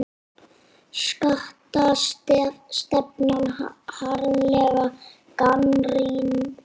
Skattastefnan harðlega gagnrýnd